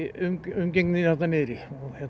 umgengninni þarna niðri